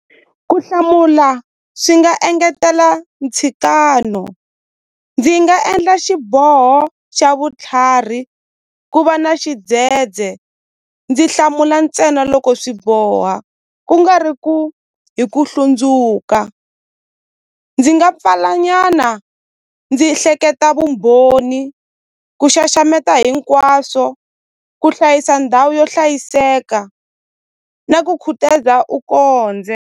Ku hlamula swi nga engetela ntshikano ndzi nga endla xiboho xa vutlhari ku va na xidzedze ndzi hlamula ntsena loko swi boha ku nga ri ku hi ku hlundzuka ndzi nga pfala nyana ndzi hleketa vumbhoni ku xaxameta hinkwaswo ku hlayisa ndhawu yo hlayiseka na ku khutaza u .